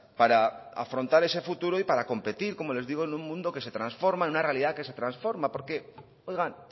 para afrontar ese futuro y para competir como les digo en un mundo que se transforma en una realidad que se transforma porque oigan